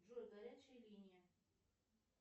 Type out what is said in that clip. джой горячая линия